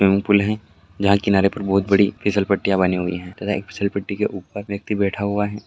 swimming pool हैं जहा किनारे पर बहुत बड़ी फिसलपट्टियां बानी हुई हैं तथा फिसलपट्टी के ऊपर एक व्यक्ति बैठा हुआ--